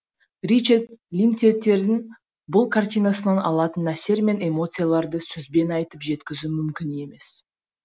ричард линктейтердің бұл картинасынан алатын әсер мен эмоцияларды сөзбен айтып жеткізу мүмкін емес